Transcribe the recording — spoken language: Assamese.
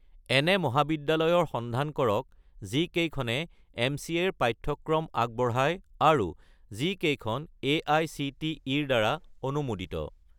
এনে মহাবিদ্যালয়ৰ সন্ধান কৰক যিকেইখনে এম.চি.এ. ৰ পাঠ্যক্ৰম আগবঢ়ায় আৰু যিকেইখন এআইচিটিই-ৰ দ্বাৰা অনুমোদিত